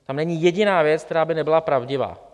Tam není jediná věc, která by nebyla pravdivá.